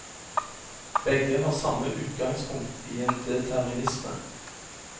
Begge har samme utgangspunkt i en determinisme.